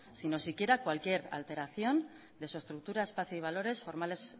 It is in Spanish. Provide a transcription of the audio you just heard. si no siquiera cualquier alteración de su estructura espacio y valores formales